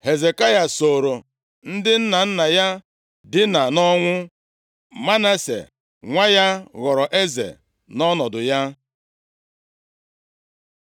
Hezekaya sooro ndị nna nna ya dinaa nʼọnwụ. Manase nwa ya ghọrọ eze nʼọnọdụ ya.